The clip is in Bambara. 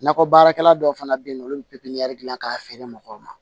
Nakɔ baarakɛla dɔw fana bɛ yen nɔ olu bɛ pipiniyɛri gilan k'a feere mɔgɔw ma